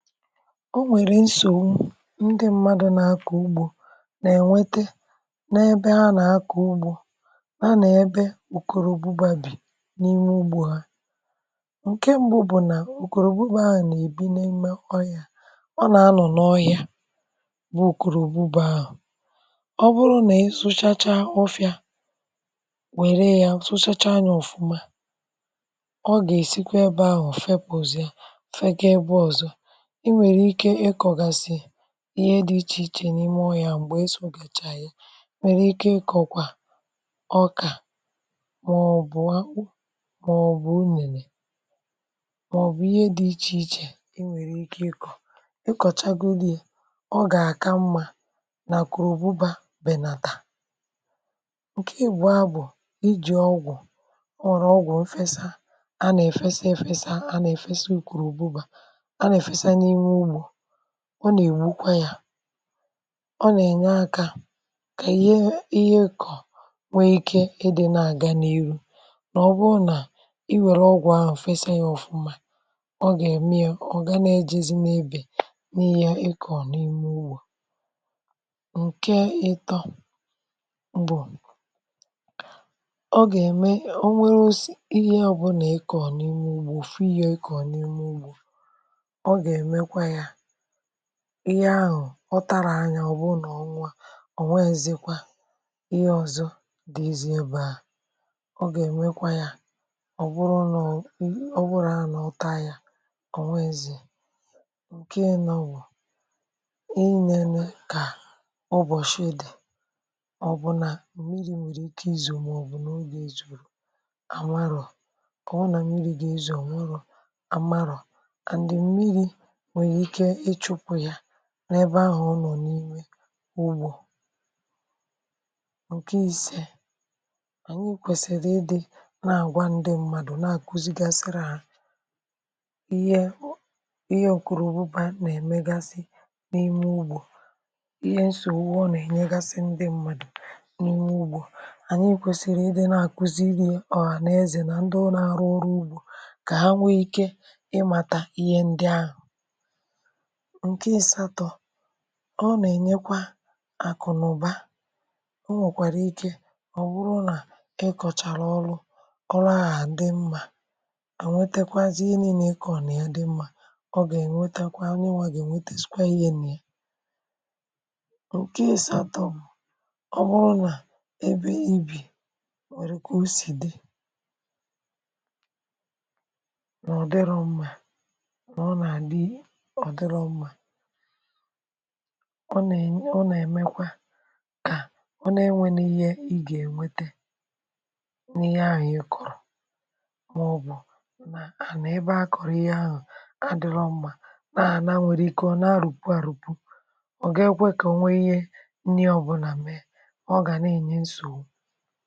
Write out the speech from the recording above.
O nwèrè nsògbu ndị mmadụ̇ na-akọ̀ ugbȯ nà-ènwete n’ebe ha nà-akọ̀ ugbȯ na na-ebe òkòrò òbubo bà bì n’ime ugbȯ ha. Nke mbụ bụ̀ nà òkòrò òbubo ahụ̀ nà-èbi na-eme ọ yȧ ọ nà-anọ̀ n’ọhị̇ȧ bụ òkòrò òbubo ahụ̀ ọ bụrụ nà e sụchacha ofu̇fị̇a wère yȧ sụchacha anya ọ̀fụma ọ gà-èsikwa ebe ahụ̀ fe puzi ya fe ga ebe ọ̀zọ ịnwere ike ikọgasi ñihe dị̇ ichè ichè n’ime ọyȧ m̀gbè e sì ògèchà yà nwèrè ike ịkọ̀kwà ọkà màọbụ̀ akpu màọbụ̀ unùnè màọbụ̀ ihe dị̇ ichè ichè i nwèrè ike ịkọ̀, ịkọ̀chagodi ọ gà-àka mmȧ nà kùrùgbu bà bènàtà. Nke ịgbọ̀a bụ̀ iji̇ ọgwụ̀ ọrụ ọgwụ̀ mfesa a nà-èfesa efesa a nà-èfesa ùkùrùgbu bà ana efesa n'ime ugbo ọ nà-ègbukwa yȧ ọ nà-ènye akȧ kà ihe ihe kọ̀ nwee ike edè na-àga n’iru nà ọ bụrụ nà iwère ọgwụ̀ ahụ̀ ụ̀fẹsịa yȧ ọ̀fụma ọ gà-ème ọ̀gana ejizim ebè n’ihì ọ̀ ịkọ̀ n’ime ugbȯ. Nke ịtọ, mbụ̀ ọ gà-ème o nwere ihe ọbụlà ị kọ̀ọ̀ n’ime ugbȯ fụ yȧ ọ̀ ịkọ̀ n’ime ugbȯ ọga emekwaya ihe ahụ̀ ọ tara anya ọ̀ bụrụ nà ọ nwa o nweezekwa ihe ọ̀zọ dị ezi ebe à ọ gà-èmekwa ya ọ̀ bụrụ nọọ̇ ọ bụrụ nà anọ̀ ọta ya ọ̀ nweezịa. Nke ịnọ, bụ ị nene kà ubọ̀shịdị̀ ọ bụ nà m̀miri nwèrè ike izù màọ̀bù n’oge ìzùrù à marò ọ̀ bụ nà mmiri̇ gà-ezù ọ̀ nwụrụ à marò and mmiri nwere ike ichupu ya n’ebe ahụ̀ ọ nọ̀ n’iwe ugbȯ. Nkẹ̀ isė, ànyi kwẹ̀sị̀rị̀ ịdị̇ na-àgwa ndị mmadù na-àkuzi gasịrị hȧ ihe ihe ọ̀kụ̀rụ̀bụbà nà-èmegasị n’ime ugbȯ ihe nsògbu ọ nà-ènwegasị ndị mmadù n’ime ugbȯ ànyi kwẹ̀sị̀rị̀ ịdị̇ na-àkuziri ọhaneze nà ndị ọ na-arụ ọrụ ugbȯ kà ha nwèrè ike ịmàtà ihe ndị ahụ̀. Nke asatọ, ọ nà-ènyekwa àkụ̀nụ̀ba o nwèkwàrà ike ọ̀ bụrụ nà ị kọ̀chàrà ọrụ ọrụ ahụ̀ dị mmȧ à nwetekwazị ihe nile ịkọrọ nà ya dị mmȧ ọ gà-ènwetekwa onye nwà gà-ènwetè skwa ihe nà ya. Nkẹ̀ ị sȧtọ̇ ọ bụrụ nà ebe ibì nwèrè kà o sì dị na ọdirọ mma nà ọ na adị ọdirọ mma ọ na ẹ̀nyẹ ọ nà ẹmẹkwa kà ọ na enwẹnẹ ihe ị gà ẹ̀nwẹtẹ n’ihe ahụ̀ ị kọ̀rọ̀ ma ọ bụ̀ nà ana ebẹ a kọ̀rọ̀ ihe ahụ̀ adịrọ mma nȧ ọ anȧ nwèrè ike ọ̀ nȧ a rùpwu à rùpwu ọ̀ ga kwe kà ọ nwẹ ihe nni ọbụlà mee ọga n'enye nsogbụ.